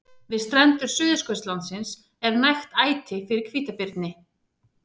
Við strendur Suðurskautslandsins er nægt æti fyrir hvítabirni.